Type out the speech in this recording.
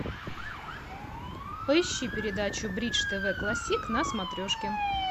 поищи передачу бридж тв классик на смотрешке